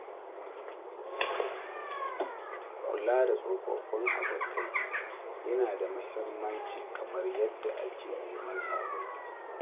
Kula da tsofaffin abokai yana da mahimmanci kamar yadda ake neman sababbi.